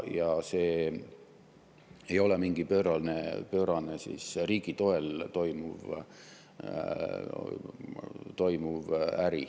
Ja see ei ole mingi pöörane riigi toel toimuv äri.